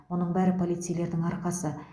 бұның бәрі полицейлердің арқасы